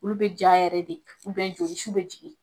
Olu bɛ ja yɛrɛ de joli su bɛ jigin .